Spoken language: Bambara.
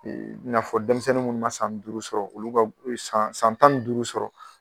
E i na fɔ denmisɛnnin munnu ma san duuru sɔrɔ olu ka e san tan ni duuru sɔrɔ.